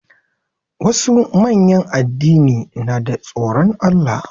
Wasu manyan addini na da tsoron Allah.